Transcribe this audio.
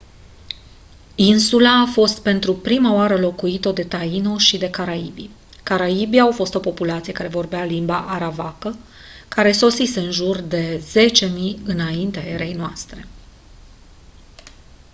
insula a fost pentru prima oară locuită de taino și de caribii caribii au fost o populație care vorbea limba arawakă care sosise în jur de 10.000 î.e.n